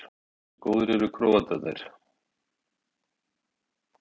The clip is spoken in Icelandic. Hversu góðir eru Króatarnir?